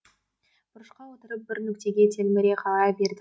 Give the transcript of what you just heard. бұрышқа отырып бір нүктеге телміре қарай берді